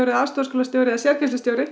aðstoðarleikskólastjóri eða